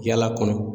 Yala kɔnɔ